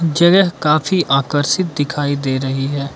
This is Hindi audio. जगह काफी आकर्षित दिखाई दे रही है।